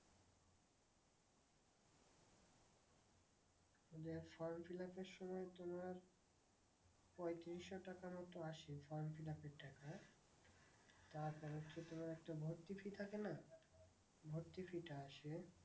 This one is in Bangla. আমাদের form fill up এর সময় তোমার পঁয়ত্রিশ শো টাকার মতো আসে form fill up এর টাকা। তারপরে হচ্ছে তোমার একটা ভর্তি fee থাকে না? ভর্তি fee টা আসে